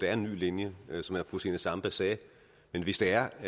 er en ny linje som fru zenia stampe sagde men hvis der er